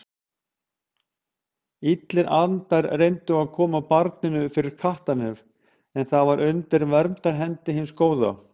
Illir andar reyndu að koma barninu fyrir kattarnef en það var undir verndarhendi hins góða.